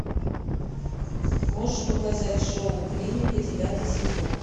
можешь показать шоу клиника девятый сезон